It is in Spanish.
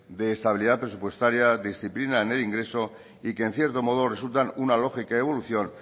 de estabilidad presupuestaria disciplina en el ingreso y que en cierto modo resultan una lógica evolución